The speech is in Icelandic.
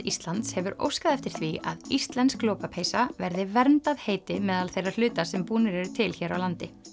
Íslands hefur óskað eftir því að íslensk lopapeysa verði verndað heiti meðal þeirra hluta sem búnir eru til hér á landi